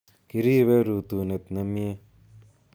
Kiribe rutunet nemye